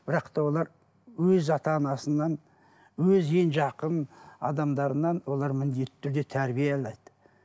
бірақ та олар өз ата анасынан өз ең жақын адамдарынан олар міндетті түрде тәрбие алады